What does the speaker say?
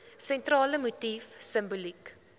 sentrale motief simboliek